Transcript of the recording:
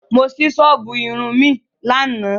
Mo sí sọ́ọ̀bù Irun ní àná